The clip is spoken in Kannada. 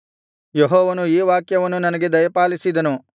ಯೆಹೋವನು ಈ ವಾಕ್ಯವನ್ನು ನನಗೆ ದಯಪಾಲಿಸಿದನು